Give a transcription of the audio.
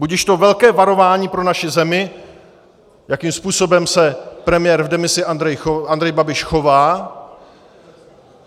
Budiž to velké varování pro naši zemi, jakým způsobem se premiér v demisi Andrej Babiš chová.